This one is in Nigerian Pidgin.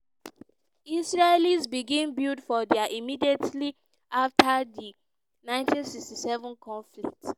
israelis begin build for dia immediately after di 1967 conflict.